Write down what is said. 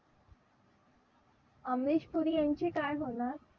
अमरीश पुरी यांचे काय होणार?